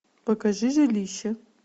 покажи жилище